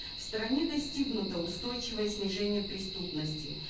в стране достигнуто устойчивое снижение преступности